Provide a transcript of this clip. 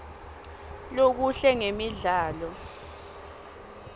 lokuhle ngemidlalo